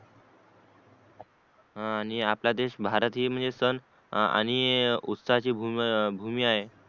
हा आणि आपला देश भारत हि म्हणजे सण आणि उत्साह ची भूमी आहे